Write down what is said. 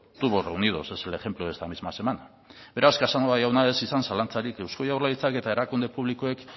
tubos reunidos es el ejemplo de esta misma semana beraz casanova jauna ez izan zalantzarik eusko jaurlaritzak eta erakunde publikoek